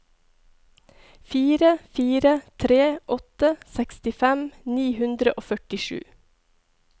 fire fire tre åtte sekstifem ni hundre og førtisju